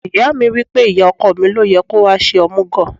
Ìyá mi wí pé, ìyá ọkọ mi ló yẹ kó wá ṣe omugo.